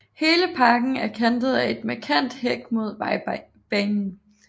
Hele parken er kantet af en markant hæk mod vejbanen